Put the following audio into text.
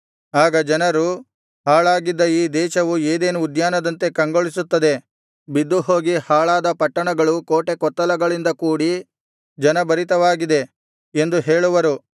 ಆಗ ಜನರು ಹಾಳಾಗಿದ್ದ ಈ ದೇಶವು ಏದೆನ್ ಉದ್ಯಾನದಂತೆ ಕಂಗೊಳಿಸುತ್ತದೆ ಬಿದ್ದುಹೋಗಿ ಹಾಳಾದ ಪಟ್ಟಣಗಳು ಕೋಟೆಕೊತ್ತಲಗಳಿಂದ ಕೂಡಿ ಜನಭರಿತವಾಗಿದೆ ಎಂದು ಹೇಳುವರು